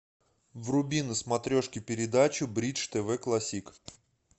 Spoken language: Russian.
вруби на смотрешке передачу бридж тв классик